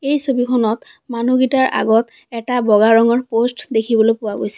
এই ছবিখনত মানুহ গিটাৰ আগত এটা বগা ৰঙৰ প'ষ্ট দেখিবলৈ পোৱা গৈছে।